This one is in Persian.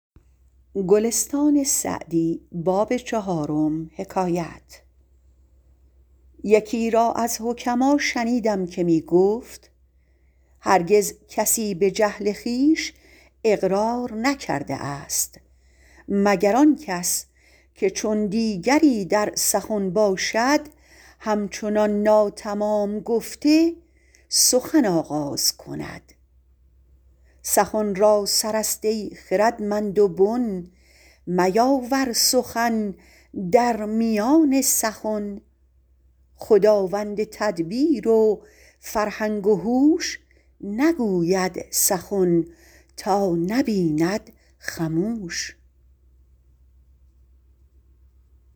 یکی را از حکما شنیدم که می گفت هرگز کسی به جهل خویش اقرار نکرده است مگر آن کس که چون دیگری در سخن باشد هم چنان ناتمام گفته سخن آغاز کند سخن را سر است ای خردمند و بن میاور سخن در میان سخن خداوند تدبیر و فرهنگ و هوش نگوید سخن تا نبیند خموش